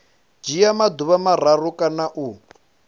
dzhia maḓuvha mararu kana u